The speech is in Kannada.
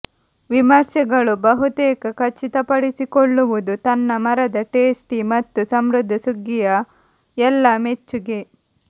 ವಿಮರ್ಶೆಗಳು ಬಹುತೇಕ ಖಚಿತಪಡಿಸಿಕೊಳ್ಳುವುದು ತನ್ನ ಮರದ ಟೇಸ್ಟಿ ಮತ್ತು ಸಮೃದ್ಧ ಸುಗ್ಗಿಯ ಎಲ್ಲಾ ಮೆಚ್ಚುಗೆ